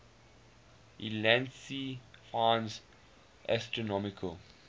ulansey finds astronomical